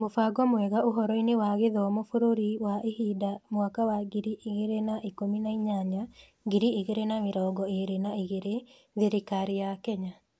Mũbango mwega Ũhoro-inĩ wa Gĩthomo Bũrũri wa ihinda Mwaka wa ngiri igĩrĩ na ikũmi na inyanya - ngiri igĩrĩ na mĩrongo ĩĩrĩ na igĩrĩ, Thirikari ya Kenya